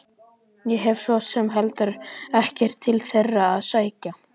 Ég hef svo sem heldur ekkert til þeirra að sækja.